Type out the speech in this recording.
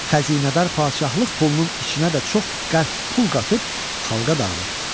Xəzinədar padşahlıq pulunun içinə də çox qəlb pul qatıb, xalqa dağıdır.